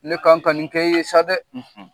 Ne kan ka nin kɛ e ye sa dɛ!